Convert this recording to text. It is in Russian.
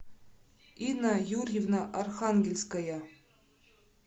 инна юрьевна архангельская